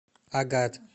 агат